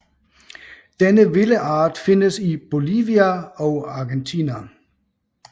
Denne vilde art findes i Bolivia og Argentina